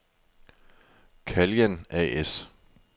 Caljan A/S